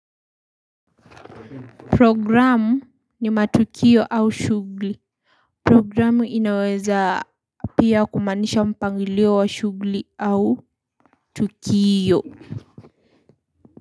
Programu ni matukio au shugli. Programu inaweza pia kumaanisha mpangilio wa shugli au tukio.